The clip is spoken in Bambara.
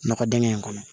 Nɔgɔ dingɛ in kɔnɔ